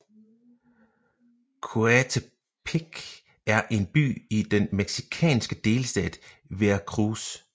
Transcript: Coatepec er en by i den mexicanske delstat Veracruz